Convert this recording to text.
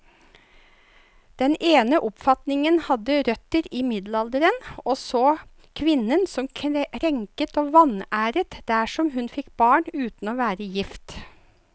Den ene oppfatningen hadde røtter i middelalderen, og så kvinnen som krenket og vanæret dersom hun fikk barn uten å være gift.